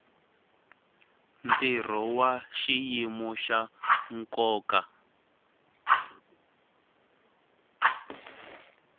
ntirho wa xiyimo xa nkoka